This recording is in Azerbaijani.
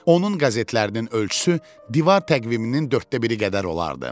Onun qəzetlərinin ölçüsü divar təqviminin dörddə biri qədər olardı.